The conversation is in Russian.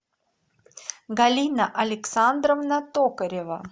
галина александровна токарева